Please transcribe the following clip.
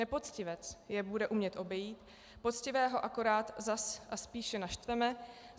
Nepoctivec je bude umět obejít, poctivého akorát zas a spíše naštveme.